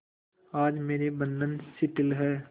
आज मेरे बंधन शिथिल हैं